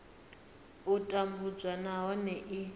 a u tambudzwa nahone i